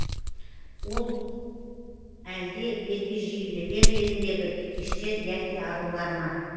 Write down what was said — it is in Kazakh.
ол әлде ергежейлілер еліндегі бикештер яки арулар ма